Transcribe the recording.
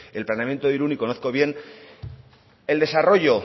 en planeamiento de irun y conozco bien el desarrollo